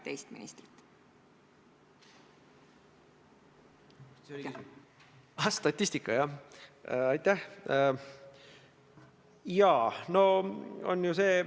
Aga eks mõningad viimased kaasused on inimeste seas õigustatult tõstatanud järjest rohkem ja rohkem küsimusi.